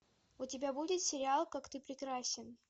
у тебя будет сериал как ты прекрасен